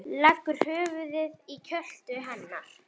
Leggur höfuðið í kjöltu hennar.